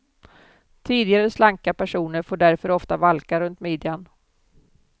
Tidigare slanka personer får därför ofta valkar runt midjan.